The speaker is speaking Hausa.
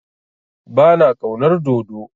Ba na ƙaunar dodo.